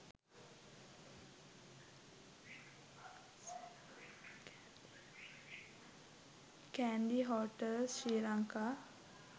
kandy hotels sri lanka